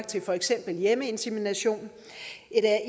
til for eksempel hjemmeinsemination